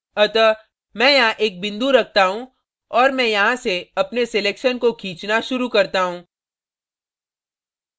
अतः मैं यहाँ एक बिंदु रखता हूँ और मैं यहाँ से अपने selection को खींचना शुरू करता हूँ